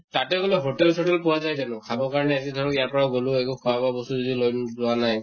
তাতে গʼলে hotel চতেল পোৱা যায় জানো খাবৰ কাৰণে ধৰক ইয়াৰ পৰা গʼলো, একো খোৱা বোৱা বস্তু যদি লগত লৈ যোৱা নাই